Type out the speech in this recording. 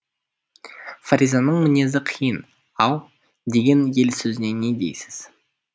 фаризаның мінезі қиын ау деген ел сөзіне не дейсіз